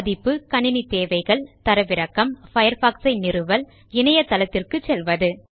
பதிப்பு கணிணி தேவைகள் தரவிறக்கம் Firefox சை நிறுவல் இணையதளத்திற்கு செல்வது